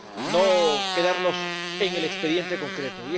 no quedarnos en el expediente concreto.